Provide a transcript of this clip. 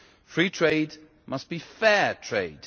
Free trade must be fair trade.